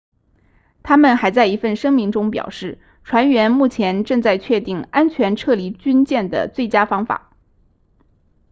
他们还在一份声明中表示船员目前正在确定安全撤离军舰的最佳方法